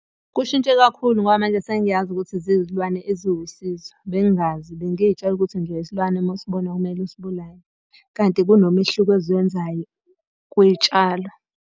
Kushintshe kakhulu ngoba manje sengiyazi ukuthi zizilwane eziwusizo, bengingazi bengiy'tshela nje ukuthi isilwane uma usibona kumele usibulale. Kanti kunomehluko eziwenzayo kwitshalo.